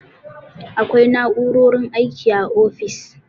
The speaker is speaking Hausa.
Akwai na'u'rorin aiki a ofis.